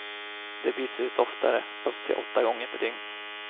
De byts ut oftare, upp till åtta gånger per dygn.